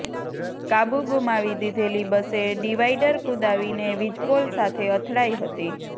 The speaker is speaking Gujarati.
કાબુ ગુમાવી દીધેલી બસે ડિવાઈડર કુદાવીને વીજપોલ સાથે અથડાઈ હતી